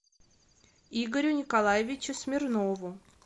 игорю николаевичу смирнову